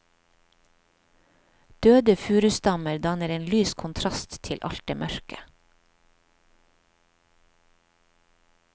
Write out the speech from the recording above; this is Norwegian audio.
Døde furustammer danner en lys kontrast til alt det mørke.